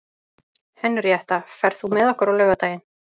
Henríetta, ferð þú með okkur á laugardaginn?